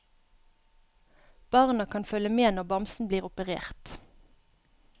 Barna kan følge med når bamsen blir operert.